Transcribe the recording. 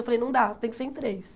Eu falei, não dá, tem que ser em três.